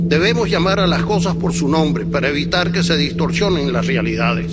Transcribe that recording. Debemos llamar a las cosas por su nombre para evitar que se distorsionen las realidades.